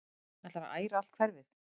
Ætlarðu að æra allt hverfið?